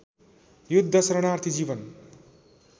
युद्ध शरणार्थी जीवन